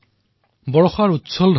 হোডিগে মডিগে আগ্যেদ লগ্ৰা